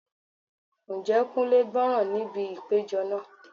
Ǹjẹ́ Kunle gbọ́ràn níbi ìpéjọ náà?